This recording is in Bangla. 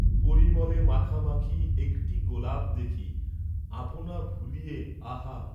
পরিমলে মাখামাখি একটী গোলাপ দেখি আপনা ভুলিয়ে, আহা!